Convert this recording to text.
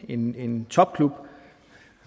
en en topklub